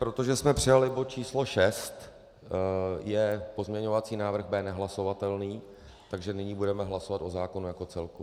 Protože jsme přijali bod číslo 6, je pozměňovací návrh B nehlasovatelný, takže nyní budeme hlasovat o zákonu jako celku.